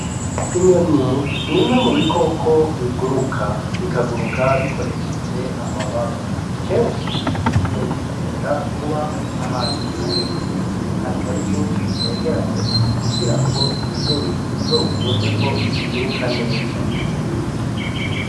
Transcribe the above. Inyoni n'imwe mubikoko biguruka. Bikaguruka bikoresheje amababa. Kenshi inyoni zikunda kuba ahantu hari ibiti atari vyinshi bitegeranye kugirango bizokunde ko ziguruka neza.